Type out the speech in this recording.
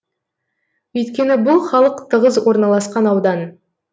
өйткені бұл халық тығыз орналасқан аудан